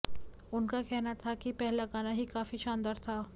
उनका कहना था कि पहला गाना ही काफी शानदार था